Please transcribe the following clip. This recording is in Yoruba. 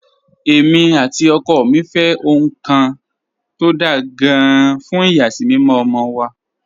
Èmi àti ọkọ mi fẹ́ ohun kan tó dáa gan-an fún ìyàsímímọ́ ọmọ wa